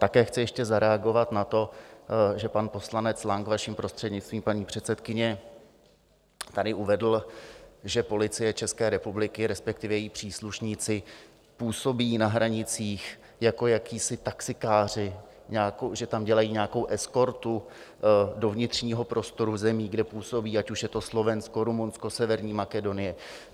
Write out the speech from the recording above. Také chci ještě zareagovat na to, že pan poslanec Lang, vaším prostřednictvím, paní předsedkyně, tady uvedl, že Policie České republiky, respektive její příslušníci, působí na hranicích jako jacísi taxikáři, že tam dělají nějakou eskortu do vnitřního prostoru zemí, kde působí, ať už je to Slovensko, Rumunsko, Severní Makedonie.